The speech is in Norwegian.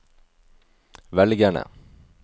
velgerne